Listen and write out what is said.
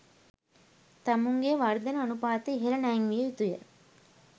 තමුන්ගේ වර්ධන අනුපාතය ඉහල නැංවිය යුතුය.